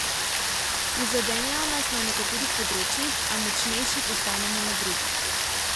Prizadenejo nas na nekaterih področjih, a močnejši postanemo na drugih.